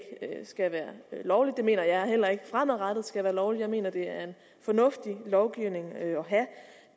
skal være lovligt og det mener jeg heller ikke fremadrettet skal være lovligt jeg mener det er en fornuftig lovgivning at have